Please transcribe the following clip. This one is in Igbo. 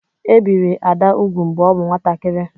E biri Ada úgwù mgbe ọ bụ nwatakịrị.